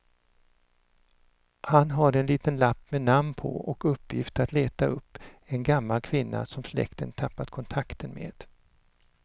Han har en liten lapp med namn på och uppgift att leta upp en gammal kvinna som släkten tappat kontakten med.